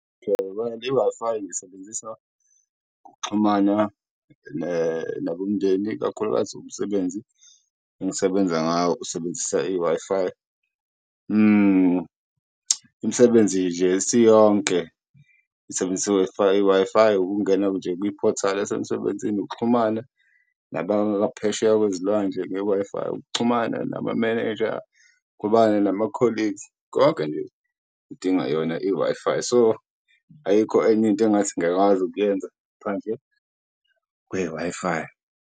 i-Wi-Fi ngiyisebenzisa ukuxhumana nabomndeni, ikakhulukazi umsebenzi engisebenza ngawo usebenzisa i-Wi-Fi , imisebenzi nje isiyonke isebenzisa i-Wi-Fi. I-Wi-Fi ukungena nje kwiphothali yasemsebenzini, ukuxhumana nabaphesheya kwezolwandle nge-Wi-Fi, ukuxhumana namamenenja, ukuxhumana nama-colleagues konke nje udinga yona i-Wi-Fi. So, ayikho enye into engathi ngiyakwazi ukuyenza ngaphandle kwe-Wi-Fi.